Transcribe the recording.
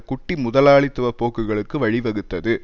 குட்டி முதலாளித்துவ போக்குகளுக்கு வழி வகுத்தது